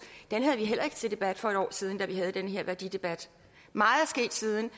den havde vi heller ikke til debat for et år siden da vi havde den her værdidebat meget er sket siden